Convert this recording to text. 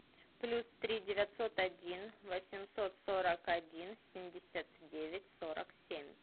плюс три девятьсот один восемьсот сорок один семьдесят девять сорок семь